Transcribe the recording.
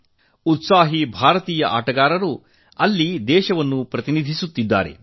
ಯುವ ಉತ್ಸಾಹಿ ಭಾರತೀಯ ಆಟಗಾರರು ಅಲ್ಲಿ ದೇಶವನ್ನು ಪ್ರತಿನಿಧಿಸುತ್ತಿದ್ದಾರೆ